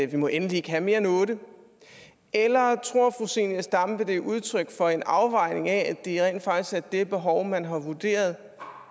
vi må endelig ikke have mere end otte eller tror fru zenia stampe at det er udtryk for en afvejning af at det rent faktisk er det behov man har vurderet